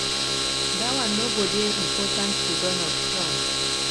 dat one no go dey important to donald trump.